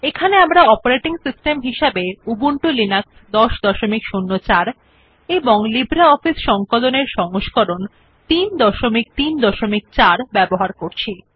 এখানে আমরা operating system হিসেবে উবুন্টু লিনাক্স ১০০৪ এবং লিব্রিঅফিস সংকলন এর সংস্করণ ৩৩৪ ব্যবহার করছি